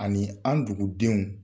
Ani an dugudenw